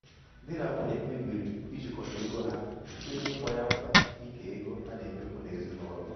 di na nwunye kpebiri ijikọta ego ha site n'ịkpọ ya mkpa ike ego a na-emefu n'ezinụlọ.